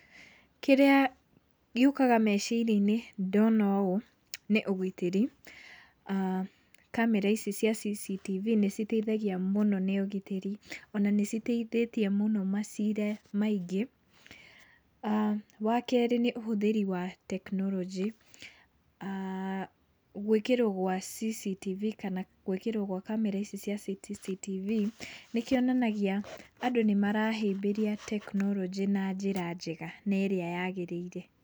Kĩrĩa gĩũkaga meciria-inĩ ndona ũũ nĩ ũgitĩri. aah Kamera ici cia CCTV nĩciteithagia mũno nĩ ũgitĩri. Ona nĩciteithĩtie mũno macira maingĩ. aah Wa kerĩ, nĩ ũhũthĩri wa tekinoronjĩ. aah Gwĩkĩrwo kwa CCTV kana gwĩkĩrwo gwa kamera ici cia CCTV nĩkĩonanagia andũ nĩmarahĩmbĩria tekinoronjĩ na njĩra njega na ĩrĩa yagĩrĩire.